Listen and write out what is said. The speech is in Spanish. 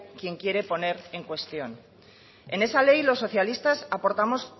quen quiere poner en cuestión en esa ley los socialistas aportamos